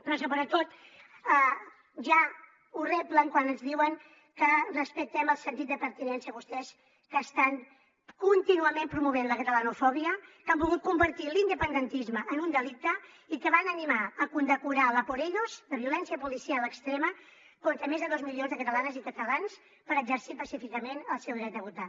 però sobretot ja ho reblen quan ens diuen que respectem el sentit de pertinença vostès que estan contínuament promovent la catalanofòbia que han volgut convertir l’independentisme en un delicte i que van animar a condecorar l’ a por elloscatalans per exercir pacíficament el seu dret a votar